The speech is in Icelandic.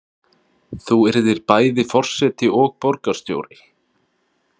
Þú yrðir bæði forseti og borgarstjóri?